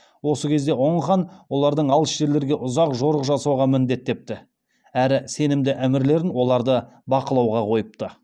осы кезде оң хан оларды алыс жерлерге ұзақ жорық жасауға міндеттепті әрі сенімді әмірлерін оларды бақылауға қойыпты